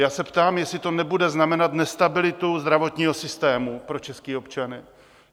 Já se ptám, jestli to nebude znamenat nestabilitu zdravotního systému pro české občany.